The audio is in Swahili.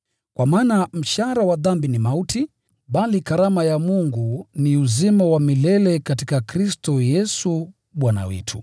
Kwa maana mshahara wa dhambi ni mauti, bali karama ya Mungu ni uzima wa milele katika Kristo Yesu Bwana wetu.